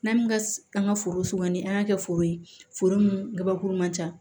N'an min ka an ka foro ni an y'a kɛ foro ye foro mun gabakuru man ca